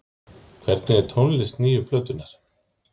Hvernig er tónlist nýju plötunnar?